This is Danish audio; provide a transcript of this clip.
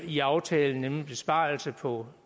i aftalen nemlig besparelsen på